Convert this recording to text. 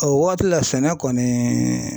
O waati la sɛnɛ kɔni